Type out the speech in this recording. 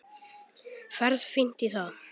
Ferð fínt í það.